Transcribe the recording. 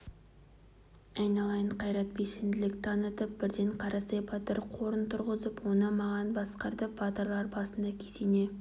айналайын қайрат белсенділік танытып бірден қарасай батыр қорын құрғызып оны маған басқартып батырлар басына кесене